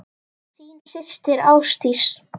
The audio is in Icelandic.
Þín systir, Ásdís.